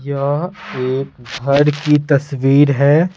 यह एक घर की तस्वीर है।